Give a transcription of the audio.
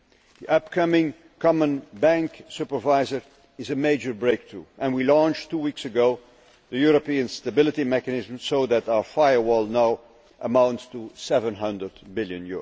The upcoming common bank supervisor is a major breakthrough and we launched two weeks ago the European Stability Mechanism so that our firewall' now amounts to EUR 700 billion.